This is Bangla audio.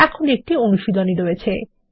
এখন একটি অনুশীলনী রয়েছে